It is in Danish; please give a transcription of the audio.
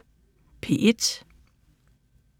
DR P1